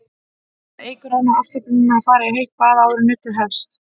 Það eykur enn á afslöppunina að fara í heitt bað áður en nuddið hefst.